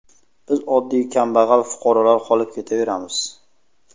Biz oddiy kambag‘al fuqarolar qolib ketaveramiz.